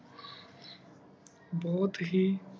ਬੁਹਤ ਹੇਇ